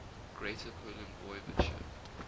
greater poland voivodeship